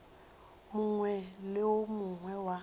mongwe le wo mongwe wa